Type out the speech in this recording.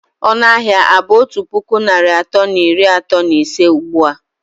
Ọnụ ahịa a bụ otu puku naịra atọ na iri atọ na ise ugbu a?